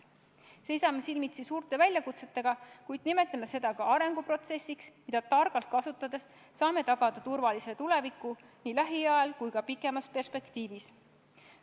Seisame silmitsi suurte väljakutsetega, kuid nimetame seda ka arenguprotsessiks, mida targalt kasutades saame tagada turvalise tuleviku nii lähemas kui ka pikemas perspektiivis.